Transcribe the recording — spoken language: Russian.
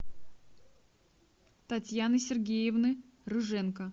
татьяны сергеевны рыженко